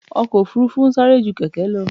Ọkò òfurufú ń sárẹ́ jú kẹ̀kẹ́ lọ.